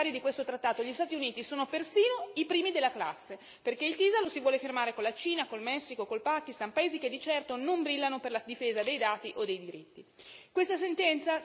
E pensate che, tra i futuri firmatari di questo trattato, gli Stati Uniti sono persino i primi della classe, perché il TISA lo si vuole firmare con la Cina, col Messico, col Pakistan, paesi che di certo non brillano per la difesa dei dati o dei diritti.